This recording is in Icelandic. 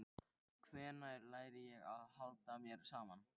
Hvenær læri ég að halda mér saman?